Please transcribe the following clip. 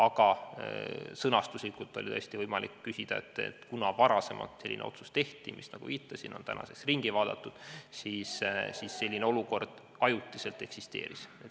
Aga sõnastuslikult oli tõesti võimalik nii küsida, sest kuna varasemalt oli selline otsus tehtud, mis, nagu viitasin, on tänaseks ära muudetud, siis ajutiselt selline olukord eksisteeris.